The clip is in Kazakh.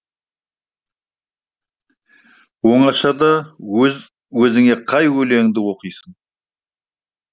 оңашада өз өзіңе қай өлеңіңді оқисың